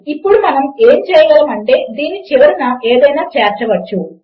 ఇప్పుడు మనము ఏమి చేయగలము అంటే దీని చివరన ఏదైనా చేర్చవచ్చు